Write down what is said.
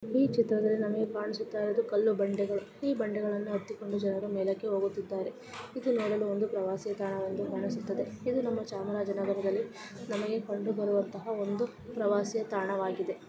ಈ ಚಿತ್ರದಲ್ಲಿ ನಮಗೆ ಕಾಣುಸುತ್ತಾರೆ ಅದು ಕಲ್ಲು ಬಂಡ್ದ ಗಳು ಈ ಬಂಡೆಗಳನು ಹತ್ತಿ ಕುಂಡು ಜನರೋ ಮೇಲಕ್ಕೆ ಹೋಗುತ್ತಿದ್ದಾರೆ ಇದು ನೂಡಲು ಒಂದು ಪ್ರವಾಸಿ ಸ್ಥಾನವಾಗಿದೆ ।